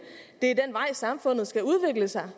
er samfundet skal udvikle sig